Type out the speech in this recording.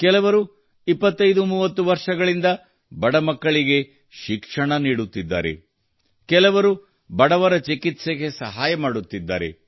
ಕೆಲವರು 2530 ವರ್ಷಗಳಿಂದ ಬಡ ಮಕ್ಕಳಿಗೆ ಶಿಕ್ಷಣ ನೀಡುತ್ತಿದ್ದಾರೆ ಕೆಲವರು ಬಡವರ ಚಿಕಿತ್ಸೆಗೆ ಸಹಾಯ ಮಾಡುತ್ತಿದ್ದಾರೆ